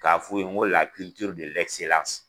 K'a f'u ye n ko